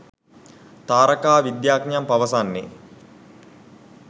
තාරකා විද්‍යාඥයන් පවසන්නේ